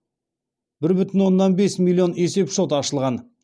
бір бүтін оннан бес миллион есепшот ашылған